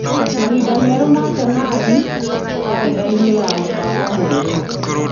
Mahinda merũ wa senarĩ kana karenda mũbango-inĩ mwerũ .